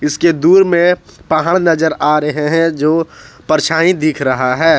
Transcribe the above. इसके दूर में पहाड़ नजर आ रहे हैं जो परछाई दिख रहा है।